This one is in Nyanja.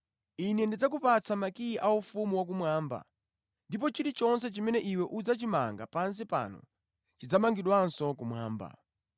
Ine ndidzakupatsa makiyi a Ufumu wakumwamba, ndipo chilichonse chimene iwe udzachimanga pansi pano chidzamangidwanso kumwamba.”